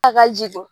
A ka ji